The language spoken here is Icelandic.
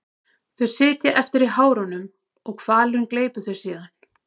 Þau sitja eftir í hárunum og hvalurinn gleypir þau síðan.